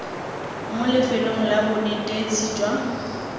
mo lefelong la bonetetshi jwa